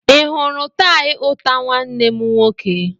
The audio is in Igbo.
i hụrụ tie ụta nwanne mụ nwoke?